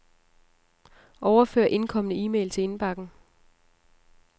Overfør indkomne e-mail til indbakken.